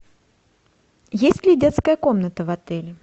есть ли детская комната в отеле